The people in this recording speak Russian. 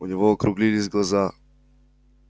у него округлились глаза